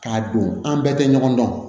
K'a don an bɛɛ tɛ ɲɔgɔn dɔn